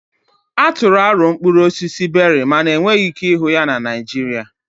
A tụrụ aro mkpụrụ osisi Beri mana enweghị ike ịhụ ya na Naịjirịa